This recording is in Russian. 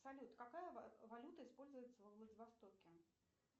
салют какая валюта используется во владивостоке